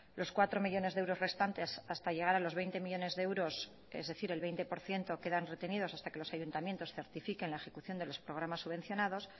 los cuatro millónes de euros restantes hasta llegar a los veinte millónes de euros es decir el veinte por ciento quedan retenidos hasta que los ayuntamientos certifiquen la ejecución de los programas subvencionados